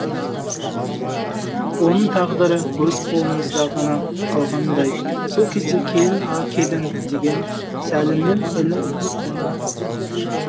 оның тағдыры өз қолыңызда ғана қалғандай сол кезде келін а келін деген сәлімнің үні естілді